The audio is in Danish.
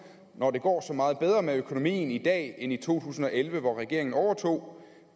når det går så meget bedre med økonomien i dag end i to tusind og elleve hvor regeringen overtog